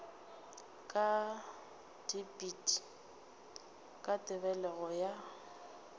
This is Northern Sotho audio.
ka dipit ka tebelego ya